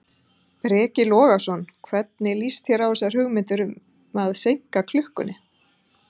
Breki Logason: Hvernig líst þér á þessar hugmyndir um að seinka klukkunni?